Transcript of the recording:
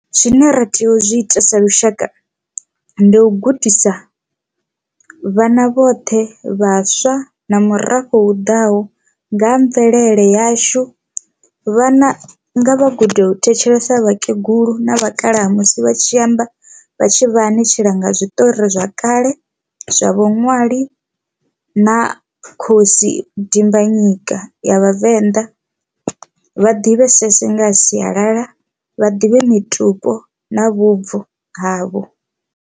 Zwine ra tea u zwiita sa lushaka ndi u gudisa vhana vhoṱhe vhaswa na murafho u ḓaho nga ha mvelele yashu, vhana nga vha gude u thetshelesa vhakegulu na vhakalaha musi vha tshi amba vha tshi vha ni tshila nga zwiṱori zwa kale zwa vhuṅwali na khosi dimbanyika ya vhavenḓa vha ḓivhesese nga sialala vha ḓivhe mitupo na vhubvo havho.